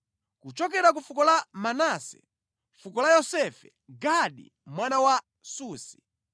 kuchokera ku fuko la Manase (fuko la Yosefe), Gadi mwana wa Susi;